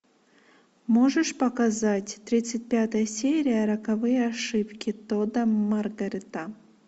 можешь показать тридцать пятая серия роковые ошибки тодда маргарета